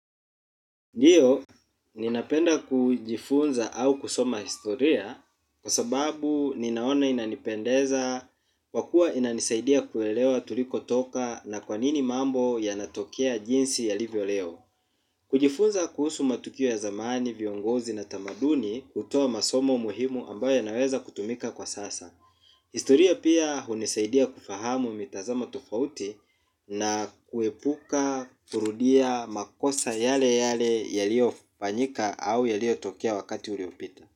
Ndiyo, ninapenda kujifunza au kusoma historia kwa sababu ninaona inanipendeza kwa kuwa inanisaidia kuelewa tuliko toka na kwanini mambo yanatokea jinsi yalivyo leo. Kujifunza kuhusu matukio ya zamani, viongozi na tamaduni kutoa masomo muhimu ambayo yanaweza kutumika kwa sasa. Historia pia hunisaidia kufahamu mitazamo tofauti na kuepuka kurudia makosa yale yale yalio fanyika au yalio tokea wakati uliopita.